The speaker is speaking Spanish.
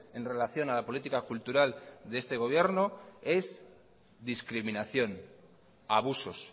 en relación a la política cultural de este gobierno es discriminación abusos